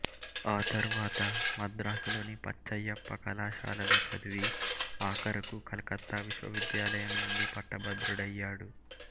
ఆ తరువాత మద్రాసు లోని పచ్చయ్యప్ప కళాశాలలో చదివి ఆఖరుకు కలకత్తా విశ్వవిద్యాలయం నుండి పట్టభద్రుడయ్యాడు